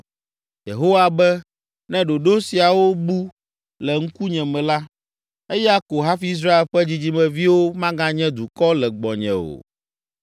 Yehowa be, “Ne ɖoɖo siawo bu le ŋkunye me la, eya ko hafi Israel ƒe dzidzimeviwo maganye dukɔ le gbɔnye o.”